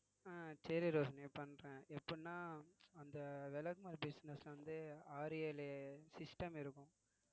அஹ் சரி ரோம்யா பண்றேன் எப்படின்னா அந்த விளக்குமாறு business வந்து ஆறு ஏழு system இருக்கும்